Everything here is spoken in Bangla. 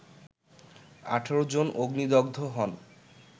১৮ জন অগ্নিদগ্ধ হন